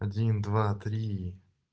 один два три